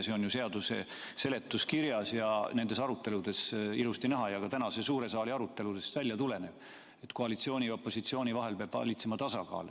See on seaduse seletuskirjas ja nendes aruteludes ilusti näha ning tuleb ka tänase suure saali aruteludest välja, et koalitsiooni ja opositsiooni vahel peab valitsema tasakaal.